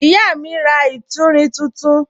Ìyá mi ra ìtúrin tuntun.